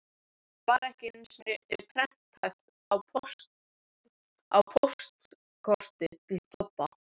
Það var ekki einu sinni prenthæft á póstkorti til Tobba.